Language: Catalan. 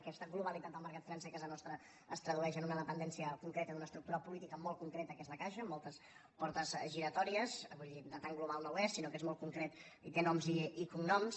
aquesta globalitat del mercat financer a casa nostra es tradueix en una dependència concreta d’una estructura política molt concreta que és la caixa amb moltes portes giratòries vull dir tan global no n’és sinó que és molt concret i té noms i cognoms